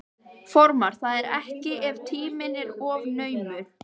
Formar það ekki ef tíminn er of naumur.